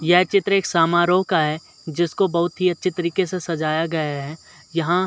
यह चित्र एक सामारोह का है जिसको बहुत ही अच्छे तरीके से सजाया गया है। यहाँ --